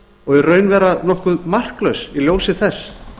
og í raun vera nokkuð marklaus í ljósi þess